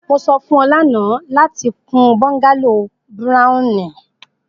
mo sọ fun ọ lana lati kun bungalow browni